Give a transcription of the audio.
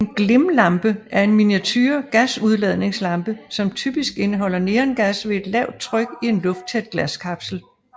En glimlampe er en miniature gasudladningslampe som typisk indeholder neongas ved et lavt tryk i en lufttæt glaskapsel